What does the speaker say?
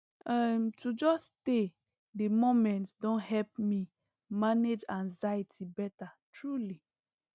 um to just stay the moment don help me manage anxiety better truely